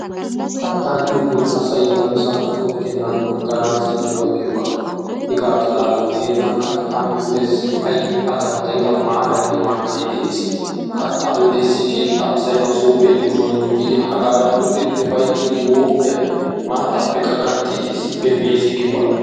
Kattaa giyogee asayi namisan qohettennaaadan agganaassi miyooba giyoogaa hegaa xalaala gidenna kattaa miyodessi ayyo assi danddayda maaraynne mankkay de"es. Kattaa miyode issi keettaa asayi masoofiya yuushuwan yuuyyidi hagaadan uttidi ufayttiiddi mooqiyan maattaappekka ganxxidi issippe mes giyoogaa.